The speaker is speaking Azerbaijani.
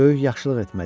Böyük yaxşılıq etməliyəm.